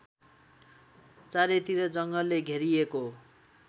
चारैतिर जङ्गलले घेरिएको